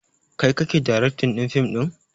Kai kake daraktin ɗin fim ɗin?